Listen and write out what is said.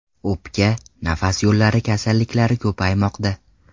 O‘pka, nafas yo‘llari kasalliklari ko‘paymoqda”.